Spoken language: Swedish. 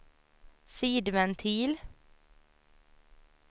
sidventil